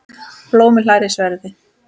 Blómi hlær í sverði.